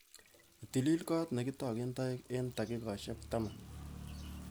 Itilil kot nekitoken toek eng dakikaishek taman